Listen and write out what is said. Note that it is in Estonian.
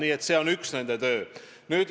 Nii et see on üks nende töö osi.